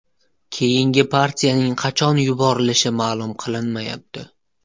Keyingi partiyaning qachon yuborilishi ma’lum qilinmayapti.